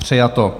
Přijato.